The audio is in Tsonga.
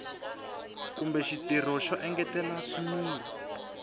kumbe xitirho xo engetela swimila